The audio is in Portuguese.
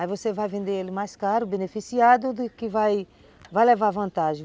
Aí você vai vender ele mais caro, beneficiado, que vai, vai levar vantagem.